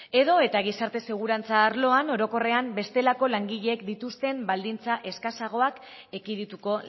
edo eta gizarte segurantza arloan orokorrean bestelako langileek dituzten baldintza eskasagoak ekidituko